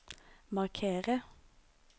markere